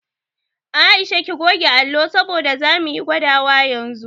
Aisha ki goge allo saboda zamu yi gwadawa yanzu